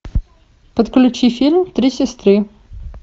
подключи фильм три сестры